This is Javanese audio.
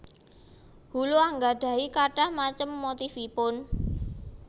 Hulu anggadhahi kathah macem motifipun